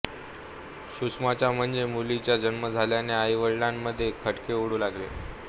सुषमाचा म्हणजे मुलीचा जन्म झाल्याने आईवडिलांमध्ये खटके उडू लागले